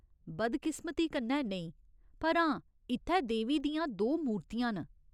बदकिस्मती कन्नै नेईं, पर हां, इत्थै देवी दियां दो मूर्तियां न।